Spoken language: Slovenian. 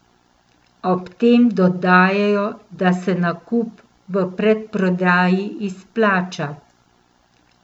Ob tem dodajajo, da se nakup v predprodaji izplača.